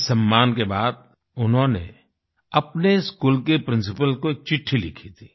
इस सम्मान के बाद उन्होंने अपने स्कूल के प्रिंसिपल को एक चिट्ठी लिखी थी